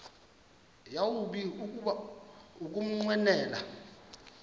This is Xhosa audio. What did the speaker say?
yawumbi kuba ukunqwenela